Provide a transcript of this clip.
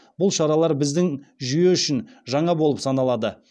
бұл шаралар біздің жүйе үшін жаңа болып саналады